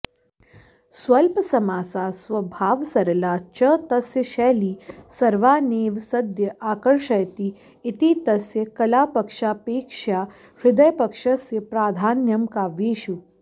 स्वल्पसमासा स्वभावसरला च तस्य शैली सर्वानेव सद्य आकर्षयति इति तस्य कलापक्षापेक्षया हृदयपक्षस्य प्राधान्यं काव्येषु